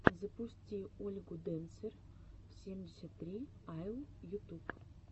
запусти ольгу дэнсер семьдесят три айэл ютуб